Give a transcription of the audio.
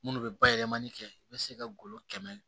Minnu bɛ bayɛlɛmali kɛ i bɛ se ka golo kɛmɛ